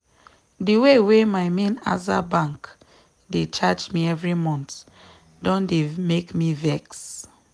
the way wey my main aza bank dey charge me every month don dey make me vex.